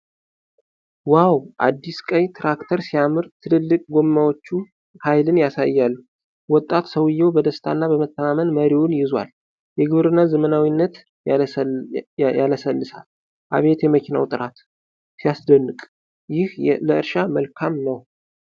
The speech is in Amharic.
ዋው! አዲስ ቀይ ትራክተር ሲያምር! ትልልቅ ጎማዎቹ ኃይልን ያሳያሉ። ወጣት ሰውየው በደስታ እና በመተማመን መሪውን ይዟል። የግብርና ዘመናዊነት ያለሰልሳል። አቤት የመኪናው ጥራት! ሲያስደንቅ! ይህ ለእርሻ መልካም ነው።